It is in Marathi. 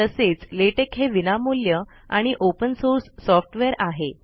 तसेच लेटेक हे विनामूल्य आणि ओपेन सोर्स सोफ्टवेअर आहे